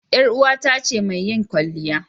Yar uwata ce mai yin kwalliya.